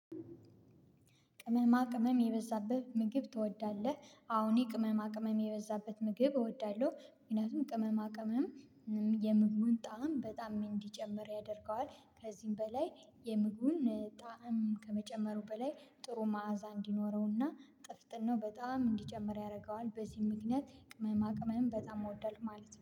ቅመማ ቅመም የበዛበት ምግብ ትወዳለህ? አወ እኔ ቅመማ ቅመም የበዛበት ምግብ እወዳለሁ። ምክንያቱም ቅመማ ቅመም የምግቡን ጣዕም በጣም እንዲጨምር ያደርገዋል። ከዚህም በላይ የምግቡን ጣዕም ከመጨመሩ በላይ ጥሩ ማዕዛ እንዲኖረውና ጥፍጥናው ነው በጣም እንዲጨምር ያደርገዋል። በዚህ ምክንያት ቅመማ ቅመም በጣም እወዳለሁ ማለት ነው